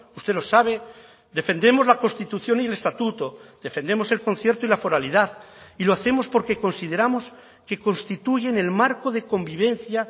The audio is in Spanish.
usted lo sabe defendemos la constitución y el estatuto defendemos el concierto y la foralidad y lo hacemos porque consideramos que constituyen el marco de convivencia